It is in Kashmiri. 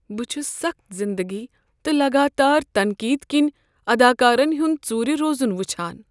بہٕ چھُس سخٕت زندگی تہٕ لگاتار تنقیٖد كِنۍ اداكارن ہُنٛد ژورِ روزُن وُچھان۔